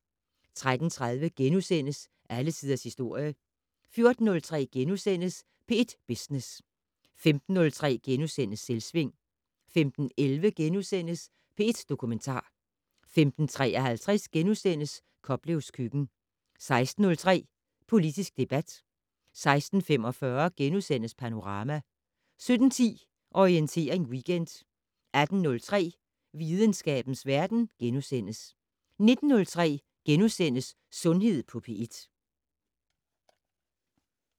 13:30: Alle tiders historie * 14:03: P1 Business * 15:03: Selvsving * 15:11: P1 Dokumentar * 15:53: Koplevs køkken * 16:03: Politisk debat 16:45: Panorama * 17:10: Orientering Weekend 18:03: Videnskabens verden * 19:03: Sundhed på P1 *